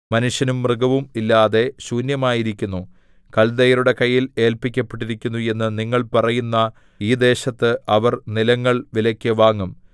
മനുഷ്യനും മൃഗവും ഇല്ലാതെ ശൂന്യമായിരിക്കുന്നു കൽദയരുടെ കയ്യിൽ ഏല്പിക്കപ്പെട്ടിരിക്കുന്നു എന്ന് നിങ്ങൾ പറയുന്ന ഈ ദേശത്ത് അവർ നിലങ്ങൾ വിലയ്ക്കു വാങ്ങും